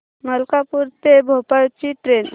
मलकापूर ते भोपाळ ची ट्रेन